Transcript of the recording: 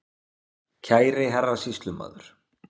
Kæri Herra Sýslumaður